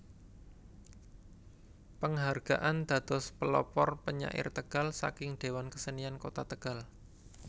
Penghargaan dados Pelopor Penyair Tegal saking Dewan Kesenian Kota Tegal